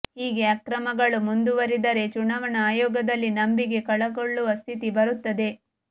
ಹೀಗೆ ಅಕ್ರಮಗಳು ಮುಂದುವರಿದರೆ ಚುನಾವಣಾ ಆಯೋಗದಲ್ಲಿ ನಂಬಿಕೆ ಕಳಕೊಳ್ಳುವ ಸ್ಥಿತಿ ಬರುತ್ತದೆ